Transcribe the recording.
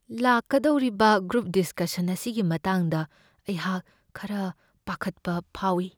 ꯂꯥꯛꯀꯗꯧꯔꯤꯕ group discussion ꯑꯁꯤꯒꯤ ꯃꯇꯥꯡꯗ ꯑꯩꯍꯥꯛ ꯈꯔ ꯄꯥꯈꯠꯄ ꯐꯥꯎꯢ ꯫